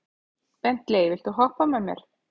Bentley, viltu hoppa með mér?